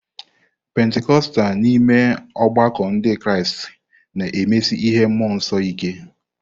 Pentikọstal n'ime ọgbakọ Ndị Kraịst na-emesi ihe mmụọ nsọ ike.